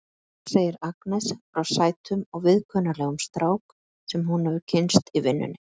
Svo segir Agnes frá sætum og viðkunnanlegum strák sem hún hefur kynnst í vinnunni.